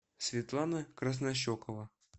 светлана краснощекова